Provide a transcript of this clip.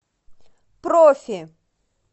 профи